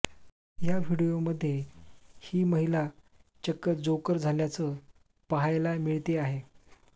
या व्हिडीओमध्ये ही महिला चक्क जोकर झाल्याचं पाहायला मिळते आहे